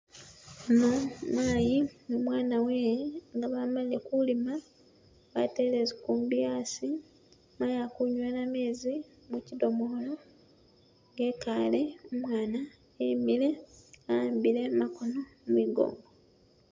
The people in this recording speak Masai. Yuno maayi ni umwana wewe nga bamalire Kulima batele zikumbi asi, maayi akunywela mezi mukidomola nga ekale umwana emele a'ambile makono mwigowa